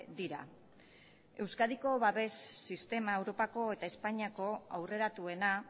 dira euskadiko babes sistema europako eta espainiako aurreratuena